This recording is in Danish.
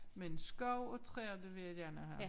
Men skov og træer det vil jeg gerne have